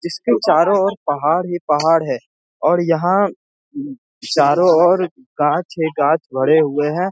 इसके चारों ओर पहाड़ ही पहाड़ है और यहां चारों ओर गाछ ही गाछ भरे हुए हैं।